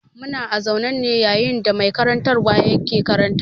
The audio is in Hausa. Muna a zaune ne yayin da mai karantarwa ke karantarwa.